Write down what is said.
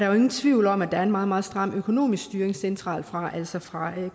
er nogen tvivl om at der er en meget meget stram økonomisk styring centralt fra altså fra